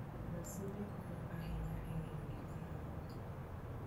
Gasede konyo ahinya e ng'eyo gik moko.